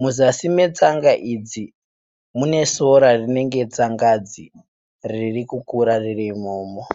Muzasi metsanga idzi mune sora rinenge tsangangadzi riri kukura ririmomo